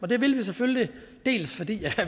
det vil vi selvfølgelig dels fordi